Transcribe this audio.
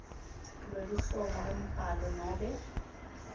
lweluhlobo lwembhalo nobe